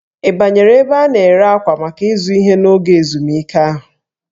Ị banyere ebe a na-ere akwa maka ịzụ ihe n'oge ezumike ahụ?